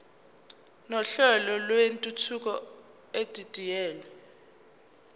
nohlelo lwentuthuko edidiyelwe